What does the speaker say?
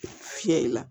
Fiyɛ la